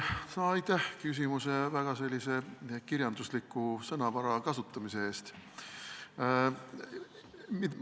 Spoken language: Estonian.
Aitäh küsimuses väga sellise kirjandusliku sõnavara kasutamise eest!